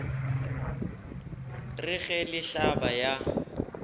re ge le hlaba ya